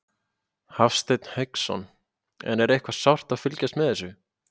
Hafsteinn Hauksson: En er eitthvað sárt að fylgjast með þessu?